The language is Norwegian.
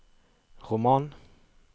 roman